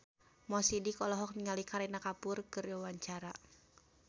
Mo Sidik olohok ningali Kareena Kapoor keur diwawancara